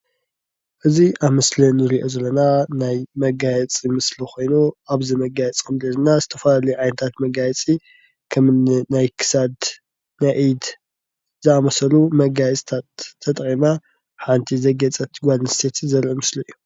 እዚ ኣብ ምሰሊ እንሪኦ ዘለና ናይ መጋየፂ ምስሊ ኮይኑ አብዚ መጋየፂ እንሪኦ ደማ ዝተፈላለዩ ዓይነታት መጋየፂ ከመ እኒ ናይ ክሳድ፥ ኢድ ዝኣመሰሉ መጋየፂታት ተጠቂመና ሓንቲ ዘግየፀት ጋል ኣንሰተይቲ ዘርኢ ምሰሊ እዩ።